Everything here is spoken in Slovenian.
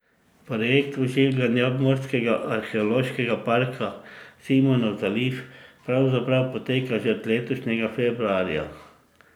Projekt oživljanja obmorskega arheološkega parka Simonov zaliv pravzaprav poteka že od letošnjega februarja.